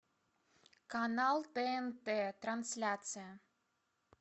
канал тнт трансляция